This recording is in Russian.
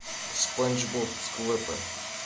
спанч боб сквепенс